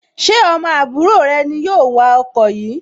Ṣé ọmọ àbúrò rẹ ni yóò wa ọkọ yìí